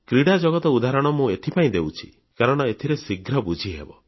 କ୍ରୀଡ଼ାଜଗତ ଉଦାହରଣ ମୁଁ ଏଥିପାଇଁ ଦେଉଛି କାରଣ ଏଥିରେ ଶୀଘ୍ର ବୁଝିହେବ